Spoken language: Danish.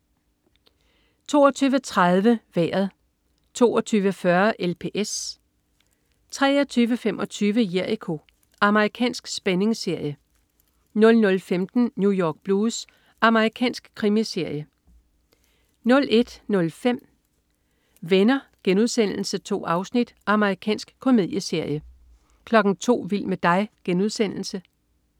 22.30 Vejret 22.40 LPS 23.25 Jericho. Amerikansk spændingsserie 00.15 New York Blues. Amerikansk krimiserie 01.05 Venner.* 2 afsnit. Amerikansk komedieserie 02.00 Vild med dig.* Amerikansk komedieserie